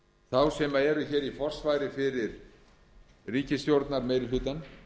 þá sem eru hér í forsvari fyrir ríkisstjórnarmeirihlutann